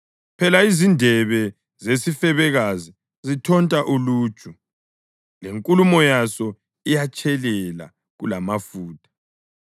Phela izindebe zesifebekazi zithonta uluju, lenkulumo yaso iyatshelela kulamafutha;